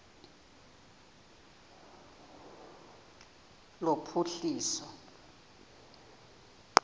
lophuhliso